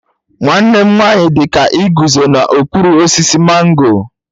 Nwanne m nwanyi dika iguzo n'okpuru osisi mango.